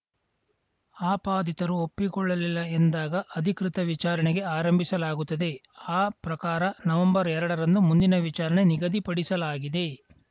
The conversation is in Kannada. ಆಪಾದಿತರು ಒಪ್ಪಿಕೊಳ್ಳಲಿಲ್ಲ ಎಂದಾಗ ಅಧಿಕೃತ ವಿಚಾರಣೆಗೆ ಆರಂಭಿಸಲಾಗುತ್ತದೆ ಆ ಪ್ರಕಾರ ನವೆಂಬರ್ಎರಡರಂದು ಮುಂದಿನ ವಿಚಾರಣೆ ನಿಗದಿಪಡಿಸಲಾಗಿದೆ